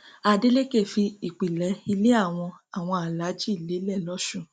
adeleke fi ìpilẹ ilé àwọn àwọn alálàájí lélẹ lọsùn um